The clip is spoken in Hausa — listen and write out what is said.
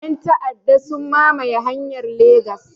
Yan ta'aɗa sun mamaye hanyar Legas